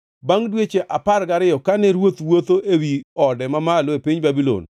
Bangʼ dweche apar gariyo, kane ruoth wuotho ewi ode mamalo e piny Babulon,